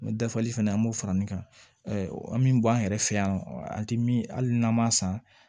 N bɛ dafali fɛnɛ an b'o fara ne kan an bɛ bɔ an yɛrɛ fɛ yan nɔ an tɛ min hali n'an ma san